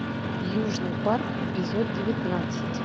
южный парк эпизод девятнадцать